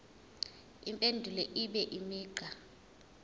impendulo ibe imigqa